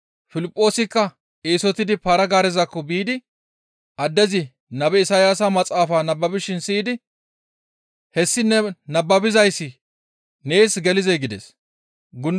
Piliphoosikka eesotidi para-gaarezakko biidi addezi nabe Isayaasa maxaafa nababishin siyidi «Hessi ne nababizayssi nees gelizee?» gides. Piliphoosanne Tophphiya dere gundulaza